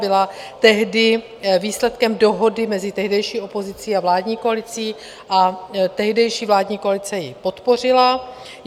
Byla tehdy výsledkem dohody mezi tehdejší opozicí a vládní koalicí a tehdejší vládní koalice ji podpořila.